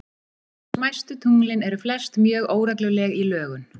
Smæstu tunglin eru flest mjög óregluleg í lögun.